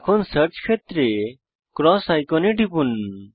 এখন সার্চ ক্ষেত্রে ক্রস আইকনে টিপুন